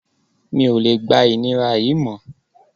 Mi ò lè gba ìnira yìí mọ́